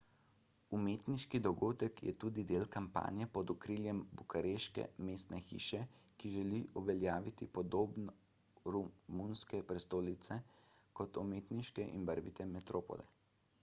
umetniški dogodek je tudi del kampanje pod okriljem bukareške mestne hiše ki želi uveljaviti podobo romunske prestolnice kot umetniške in barvite metropole